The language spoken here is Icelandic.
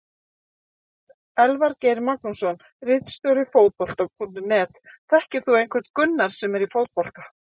Elvar Geir Magnússon ritstjóri Fótbolta.net: Þekkir þú einhvern Gunnar sem er í fótbolta?